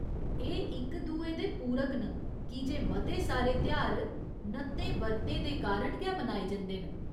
एह् इक दुए दे पूरक न की जे मते सारे तेहार नत्तें बर्तें दे कारण गै मनाए जंदे न।